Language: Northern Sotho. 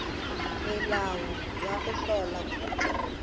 melao ya go hlola khutšo